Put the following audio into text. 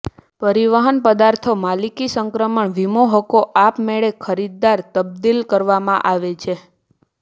પરિવહન પદાર્થો માલિકી સંક્રમણ વીમો હકો આપમેળે ખરીદદાર તબદિલ કરવામાં આવે છે